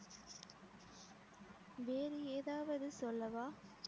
வேறு ஏதாவது சொல்லவா